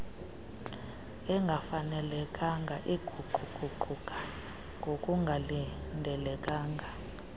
engafanelekanga eguquguquka ngokungalindelekanga